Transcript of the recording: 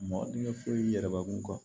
Mɔgɔ n'i ye furu yir'i yɛrɛ kun kan